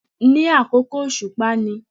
Ní àkókò òsùpá ni